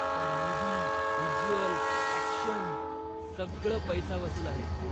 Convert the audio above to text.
पण movie, visuals, action सगळं पैसा वसूल आहे.